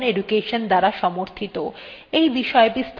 এই বিষয় বিস্তারিত তথ্য নিম্নলিখিত লিঙ্কএ প্রাপ্তিসাধ্য